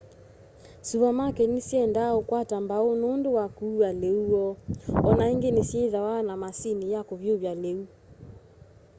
suvamaketi nisyiendee ukwata mbau nundu wa kuua liu woo o na ingi nisyithwaa na maasini ya kuvyuvya liu